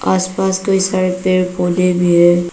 आसपास कई सारे पेड़ पौधे भी हैं।